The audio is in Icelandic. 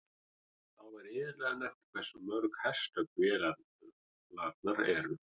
Þá er iðulega nefnt hversu mörg hestöfl vélarnar eru.